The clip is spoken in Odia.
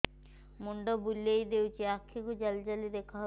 ମୁଣ୍ଡ ବୁଲେଇ ଦେଉଛି ଆଖି କୁ ଜାଲି ଜାଲି ଦେଖା ଯାଉଛି